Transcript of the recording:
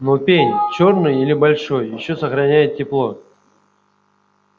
но пень чёрный и большой ещё сохраняет тепло